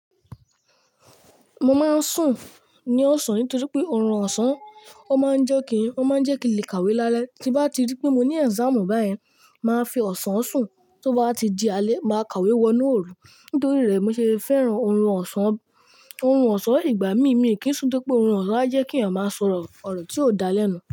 Mo máa ń sùn ní ọ̀sán nítorí pé ọrùn ọ̀sán ó máa ń jẹ́ kí i, ó máa ń jẹ́ kí n lè kàwé lálẹ́. Tí bá ti rí pé mo ní exam báyìí, màá fi ọ̀sán sùn, tó bá ti di alẹ́, màá kàwé wọnú òrù. Nítorí rẹ̀ mo ṣe fẹ́ràn ọrùn ọ̀sán. Ọrùn ọ̀sán ìgbà mí mí kí n sú pé ọrùn ọ̀sán a jẹ́ kí ẹ̀yàn máa sọ̀rọ̀ ọ̀rọ̀ tí ó da lẹ́nu.